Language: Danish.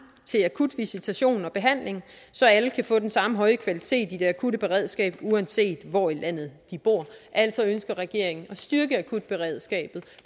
til akut visitation og behandling så alle kan få den samme høje kvalitet i det akutte beredskab uanset hvor i landet de bor altså ønsker regeringen at styrke akutberedskabet